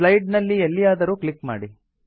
slide ನ ಲ್ಲಿ ಎಲ್ಲಿಯಾದರೂ ಕ್ಲಿಕ್ ಮಾಡಿ